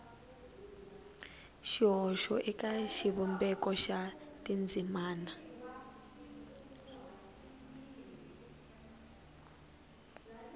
xihoxo eka xivumbeko xa tindzimana